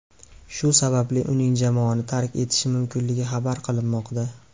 Shu sababli uning jamoani tark etishi mumkinligi xabar qilinmoqda.